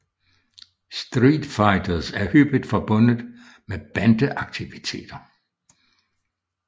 Street fighters er hyppigt forbundet med bande aktiviteter